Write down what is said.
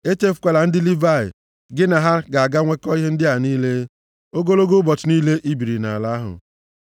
Echefukwala ndị Livayị, gị na ha ga na-enwekọ ihe ndị a niile, ogologo ụbọchị niile i biri nʼala ahụ.